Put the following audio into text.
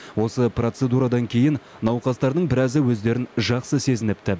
осы процедурадан кейін науқастардың біразы өздерін жақсы сезініпті